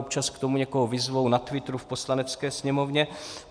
Občas k tomu někoho vyzvou, na Twitteru, v Poslanecké sněmovně.